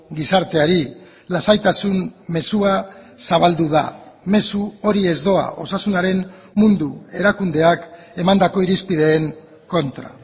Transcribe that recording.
gizarteari lasaitasun mezua zabaldu da mezu hori ez doa osasunaren mundu erakundeak emandako irizpideen kontra